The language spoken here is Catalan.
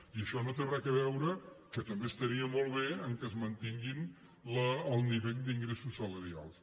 i això no té res a veure que també estaria molt bé amb què es mantingui el nivell d’ingressos salarials